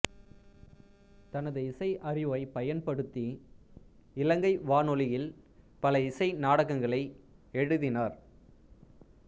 தனது இசை அறிவைப் பயன்படுத்தி இலங்கை வானொலியில் பல இசை நாடகங்களை எழுதினார்